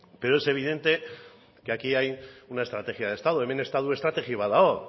pero es evidente que aquí una estrategia de estado hemen estatu estrategia bat dago